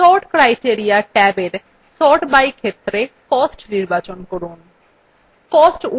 sort criteria ট্যাবin sort by ক্ষেত্রে cost নির্বাচন করুন